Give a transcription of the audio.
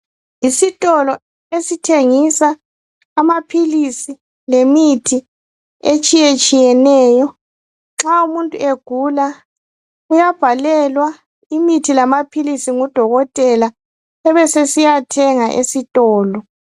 Isitolo esithengisa amaphilisi lemithi etshiyetshiyeneyo nxa umuntu egula uyabhalelwa imithi lamaphilisi ngudokotela ebesesiyathenga esitolo.